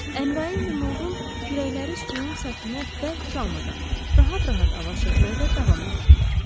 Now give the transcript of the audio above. Əmrayın və Mılğon kürəkləri suyun səthinə bərk çalmadan, rahat-rahat avar çəkməkdə davam edirdilər.